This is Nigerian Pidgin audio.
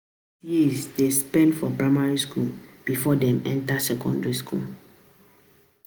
Na six years children dey spend for primary skool before dem enta secondary skool.